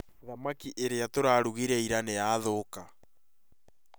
Thamaki ĩrĩa tũrarũgĩre ira nĩ yathũka